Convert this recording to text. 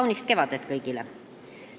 Kaunist kevadet kõigile!